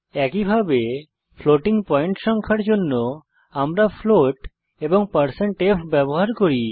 একইভাবে floating point সংখ্যার জন্য আমরা ফ্লোট এবং f ব্যবহার করব